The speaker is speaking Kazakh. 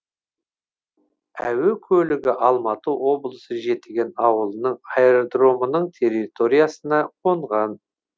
әуе көлігі алматы облысы жетіген ауылының аэродромының территориясына қонған